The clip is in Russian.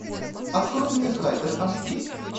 открой мне хайдер аш ди